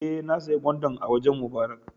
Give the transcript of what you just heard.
Eh, na siya gwandan a wajen Mubarak